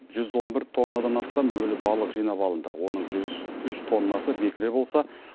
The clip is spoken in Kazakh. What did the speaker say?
жүз он бір тоннадан астам өлі балық жинап алынды оның жүз үш тоннасы бекіре болса